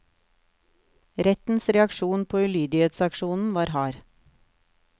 Rettens reaksjon på ulydighetsaksjonen var hard.